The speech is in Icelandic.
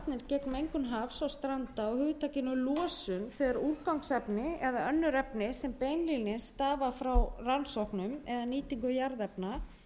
stranda á hugtakinu losun þegar úrgangsefni eða önnur efni sem beinlínis stafa frá rannsóknum eða nýtingu jarðefna